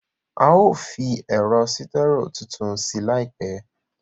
A ó fi ẹ̀rọ sítẹ́rò tuntun sí láìpẹ́